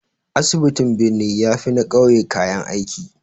Asibitin birni ya fi na ƙauye kayan aiki